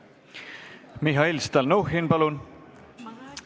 Mihhail Stalnuhhin, palun!